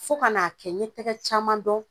Fo kan'a kɛ ɲe tɛgɛ caman dɔn